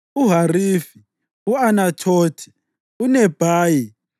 uHarifi, u-Anathothi, uNebhayi,